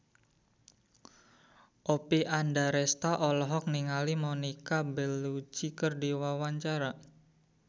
Oppie Andaresta olohok ningali Monica Belluci keur diwawancara